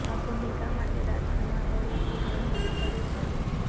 આ ભૂમિકા માટે રાજકુમાર રાવે ખુબ મહેનત કરી છે